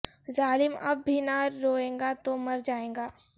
ظالم اب بھی نہ روئے گا تو مر جائے گا